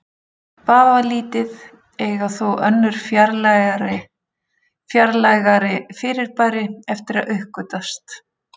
Vafalítið eiga þó önnur fjarlægari fyrirbæri eftir að uppgötvast.